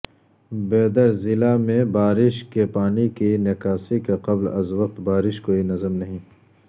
بیدر ضلع میںبارش کے پانی کی نکاسی کا قبل از وقت بارش کوئی نظم نہیں